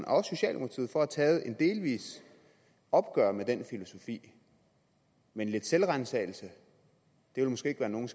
og socialdemokratiet for at have taget et delvist opgør med den filosofi men lidt selvransagelse ville måske ikke være nogen